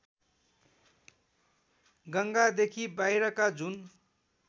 गङ्गादेखि बाहिरका जुन